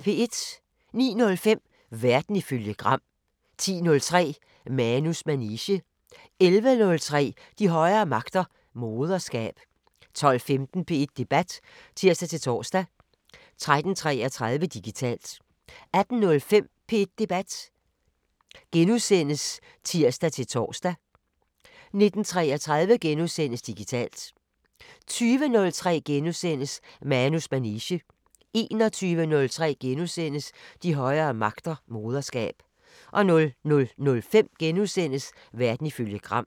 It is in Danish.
09:05: Verden ifølge Gram 10:03: Manus manege 11:03: De højere magter: Moderskab 12:15: P1 Debat (tir-tor) 13:33: Digitalt 18:05: P1 Debat *(tir-tor) 19:33: Digitalt * 20:03: Manus manege * 21:03: De højere magter: Moderskab * 00:05: Verden ifølge Gram *